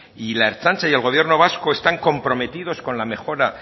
y la ertzaintza y el gobierno vasco están comprometidos con la mejora